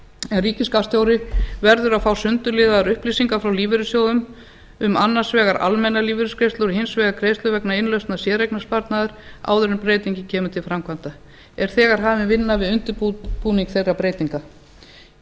en ríkisskattstjóri verður að fá sundurliðaðar upplýsingar frá lífeyrissjóðum um annars vegar almennar lífeyrisgreiðslur og hins vegar greiðslur vegna innlausnar séreignarsparnaðar áður en breytingin kemur til framkvæmda er þegar hafin vinna við undirbúning þeirra breytinga í